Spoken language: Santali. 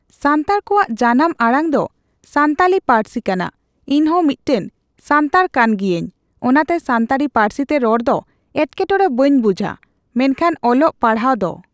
ᱥᱟᱱᱛᱟᱲ ᱠᱚᱣᱟᱜ ᱡᱟᱱᱟᱢ ᱟᱲᱟᱝ ᱫᱚ ᱥᱟᱱᱛᱟᱞᱤ ᱯᱟᱹᱨᱥᱤ ᱠᱟᱱᱟ ᱤᱧᱦᱚ ᱢᱤᱫᱴᱟᱝ ᱥᱟᱱᱛᱟᱲ ᱠᱟᱱᱜᱤᱭᱟᱹᱧ ᱚᱱᱟᱛᱮ ᱥᱟᱱᱛᱟᱲᱤ ᱯᱟᱹᱨᱥᱤᱛᱮ ᱨᱚᱲᱫᱚ ᱮᱴᱠᱮᱴᱚᱲᱮ ᱵᱟᱹᱧ ᱵᱩᱡᱟ ᱢᱮᱱᱠᱷᱟᱱ ᱚᱞᱚᱜ ᱯᱟᱲᱦᱟᱜ ᱫᱚ